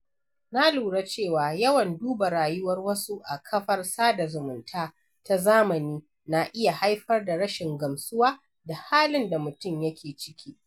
Na lura cewa yawan duba rayuwar wasu a kafar sada zumunta ta zamani na iya haifar da rashin gamsuwa da halin da mutum yake ciki.